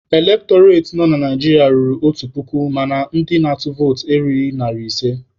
Elektọreti nọ na Naijiria ruru otu puku mana ndị na-atụ votu erughị narị ise.